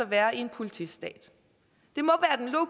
være i en politistat